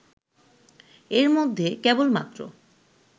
এর মধ্যে কেবলমাত্র